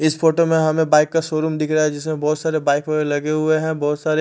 इस फोटो में हमें बाइक का शोरूम दिखरा है जिसमे बोहोत सारे बाइक वगेरा लगे हुए है बोहोत सारे--